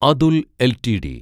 Atul LTD